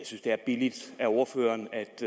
synes det er billigt af ordføreren